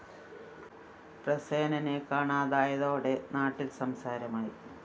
പ്രസേനനെ കാണാതായതോടെ നാട്ടില്‍ സംസാരമായി